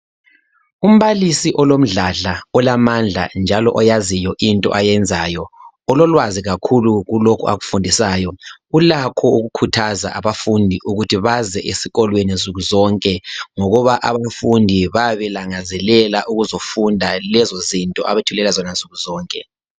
Umbalisi olomdladla olamandla njalo oyaziyo into ayenzayo ulolwazi kakhulu kulokhu akufundisayo ulakho ukukhuthaza abafundi ukuthi baze esikolweni nsuku zonke ngokuba abafundi bayabe belangazelela ukuzofunda lezo zinto abazitholayo nsukuzonke.